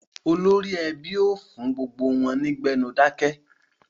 Olórí ẹbí ọ fún gbogbo wọn kí wọ́n gbénu dákẹ́.